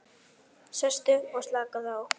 Sestu og slakaðu á.